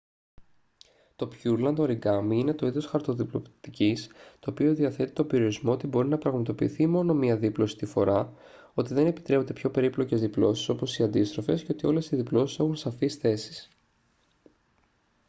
το πιούρλαντ οριγκάμι είναι το είδος χαρτοδιπλωτικής το οποίο διαθέτει τον περιορισμό ότι μπορεί να πραγματοποιηθεί μόνο μία δίπλωση τη φορά ότι δεν επιτρέπονται πιο περίπλοκες διπλώσεις όπως οι αντίστροφες και ότι όλες οι διπλώσεις έχουν σαφείς θέσεις